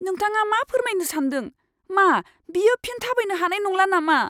नोंथाङा मा फोरमायनो सान्दों? मा बियो फिन थाबायनो हानाय नंला नामा?